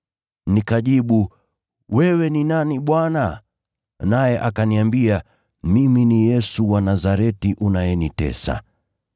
“Nikajibu, ‘Wewe ni nani Bwana?’ “Naye akaniambia, ‘Mimi ni Yesu wa Nazareti unayemtesa.’